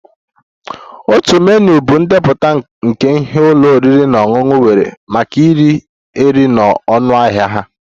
Otu menu bụ ndepụta nke ihe ụlọ oriri na ọṅụṅụ nwere maka ire ere na ọnụahịa ha